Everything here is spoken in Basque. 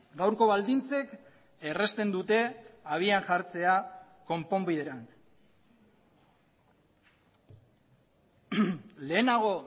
gaurko baldintzek errazten dute habian jartzea konponbiderantz lehenago